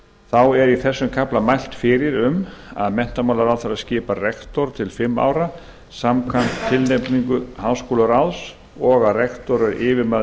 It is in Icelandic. þá er í þessum kafla mælt fyrir um að menntamálaráðherra skipi rektor til fimm ára samkvæmt tilnefningu háskólaráðs og að rektor sé yfirmaður